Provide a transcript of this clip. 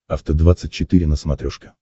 афта двадцать четыре на смотрешке